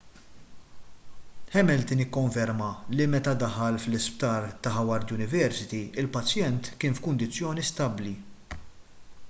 hamilton ikkonferma li meta ddaħħal fl-isptar ta' howard university il-pazjent kien f'kundizzjoni stabbli